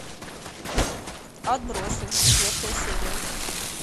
отбросы четвертая серия